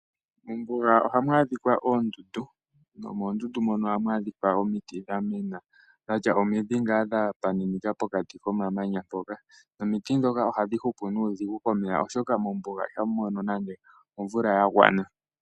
Mombuga ohamu adhika oondundu, nomonduundu mono ohamu adhika iimiti dha mena dhatya omidhi dha pitakana pokati komamanya mpoka. Omiti ndhoka ohadhi hupu nuudhigu komeya, oshoka mombuga ihamu mono nande omvula ya gwana.